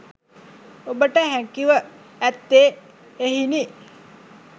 ඔබට හැකි ව ඇත්තේ එහෙයිනි.